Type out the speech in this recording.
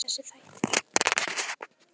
Hvað hétu þessir þættir?